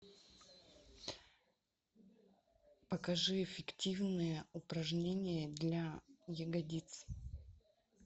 покажи эффективные упражнения для ягодиц